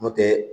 N'o tɛ